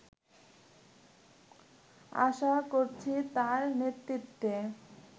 আশা করছি তার নেতৃত্বে